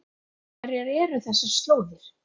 Hverjar eru þessar slóðir?